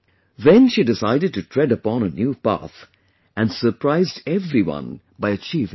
Then she decided to tread upon a new path and surprised everyone by achieving success